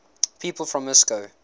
people from moscow